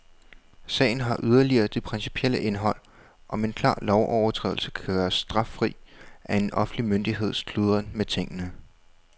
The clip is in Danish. Sagen har yderligere det principielle indhold, om en klar lovovertrædelse kan gøres straffri af en offentlig myndigheds kludren med tingene.